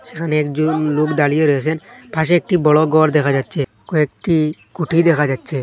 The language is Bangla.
সেখানে একজন লোক দাঁড়িয়ে রয়েসেন পাশে একটি বড় ঘর দেখা যাচ্ছে কয়েকটি কুঠি দেখা যাচ্ছে।